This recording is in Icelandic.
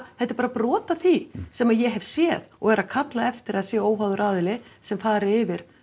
þetta er bara brot af því sem ég hef séð og er að kalla eftir því að það sé óháður aðili sem fari yfir